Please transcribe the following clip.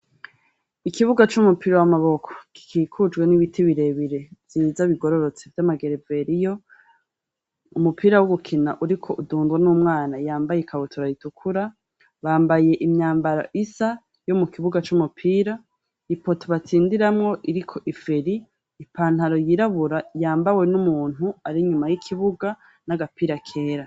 Ikibuga c'umupira w'amaboko, gikikujwe n'ibiti birebire vyiza bigororotse vyama gereveriyo, umupira wo gukina uriko udundwa n'umwana yambaye ikabutura ritukura, bambaye imyambaro isa yo mukibuka c'umupira, ipoto batsindiramwo iriko iferi, ipantaro yirabura yambawe n'umuntu arinyuma y'ikibuga n'agapira kera.